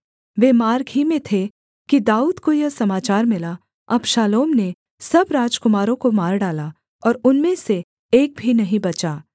वे मार्ग ही में थे कि दाऊद को यह समाचार मिला अबशालोम ने सब राजकुमारों को मार डाला और उनमें से एक भी नहीं बचा